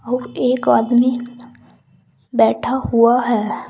वो एक आदमी बैठा हुआ है।